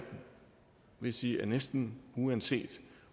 vil sige at næsten uanset